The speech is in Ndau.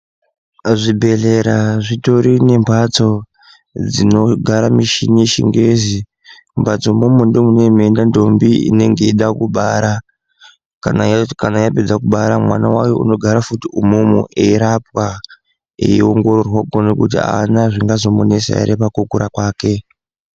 Zvibhedhlera zvitori nembatso dzinogara mishini yeChiNgezi. Mbatso imwomwo ndomune meienda ndombi inenge yeida kubara. Kana yapedza kubara mwana wayo unogara futi umwomwo eirapwa eiongororwa kuono kuti haana zvingazomunesa ere pakukura kwake.